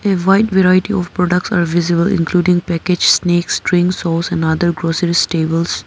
A wide variety of products are visible including package snacks drinks sauce and other grocery stables.